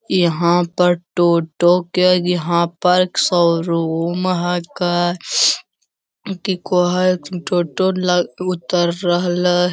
यहाँ पर टोटो के यहाँ पर एक शोरूम हैके की कह हथीन टोटो ल उतर रहलै।